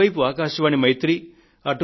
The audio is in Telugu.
ఇటువైపు ఆకాశవాణి మైత్రి